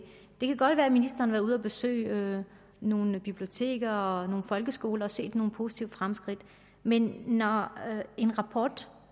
det kan godt være at ministeren har været ude at besøge nogle biblioteker og nogle folkeskoler og har set nogle positive fremskridt men når en rapport